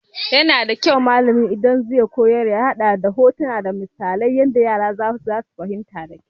Ya kamata idan malami zai koyar ya haɗa da hotuna da kuma misalai saboda yara su fahimta da kyau.